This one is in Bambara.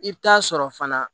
I bɛ taa sɔrɔ fana